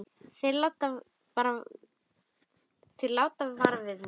Þeir láta vara við mér.